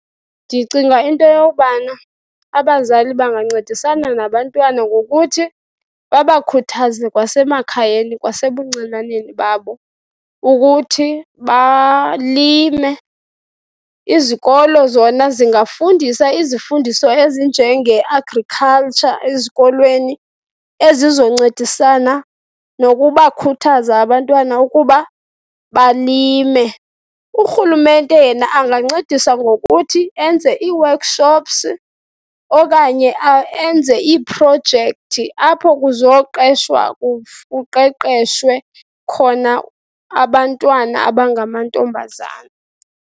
Ndicinga into yobana abazali bangancedisana nabantwana ngokuthi babakhuthaze kwasemakhayeni kwasebuncinaneni babo ukuthi balime. Izikolo zona zingafundisa izifundiso ezinjengeAgriculture ezikolweni ezizoncedisana nokubakhuthaza abantwana ukuba balime. Urhulumente yena angancedisa ngokuthi enze ii-workshops okanye enze iiprojekthi apho kuzoqeshwa kuqeqeshwe khona abantwana abangamantombazana.